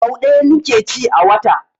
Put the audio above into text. Sau ɗaya ni ke ci a wata